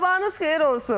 Sabahınız xeyir olsun.